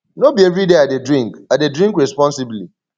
no be everyday i dey drink i dey drink responsibly